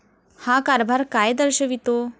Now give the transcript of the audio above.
हा कारभार काय दर्शवितो?